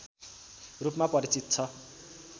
रूपमा परिचित छ